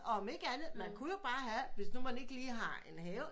Og om ikke andet man kunne jo bare have hvis man ikke lige har en have